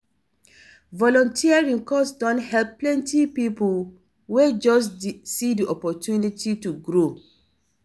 Volunteering cause don help plenty people wey just see di opportunity to grow.